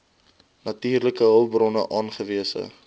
natuurlike hulpbronne aangewese